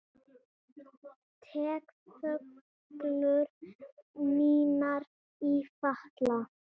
Tek föggur mínar í fatla.